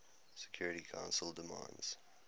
security council demands